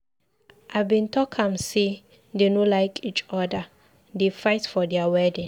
I bin talk am say dey no like each other, dey fight for their wedding.